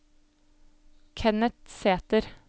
Kenneth Sæter